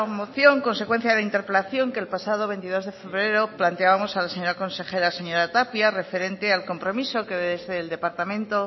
moción consecuencia de interpelación que el pasado veintidós de febrero planteábamos a la señora consejera la señora tapia referente al compromiso que desde el departamento